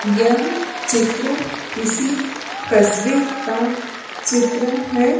यह चित्र किसी कस्बे का चित्र है।